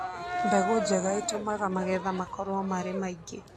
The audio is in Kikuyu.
Mbegũ njega itũmaga magetha makorũo marĩ maingĩ.